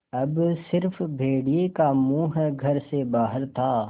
अब स़िर्फ भेड़िए का मुँह घर से बाहर था